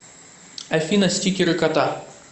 афина стикеры кота